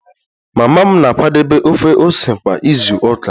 Mama m na-akwadebe ofe ose kwa izu ụka